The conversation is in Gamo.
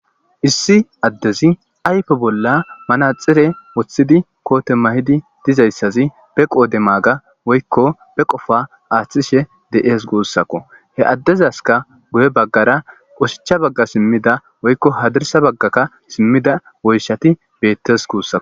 Issi adez ayfe bolla amanaxire wothid koote mayid dizaysaz be qod maga woyko be qopa athishe de'es guusako, he adezaska guye bagara oshicha baga simida woyko hadirsa bagaka simida woyshati betes guusako.